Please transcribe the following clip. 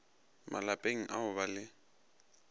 malapeng a go ba le